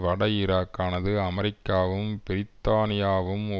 வட ஈராக்கானது அமெரிக்காவும் பிரித்தானியாவும்